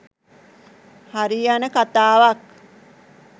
හරියන කතාවක්.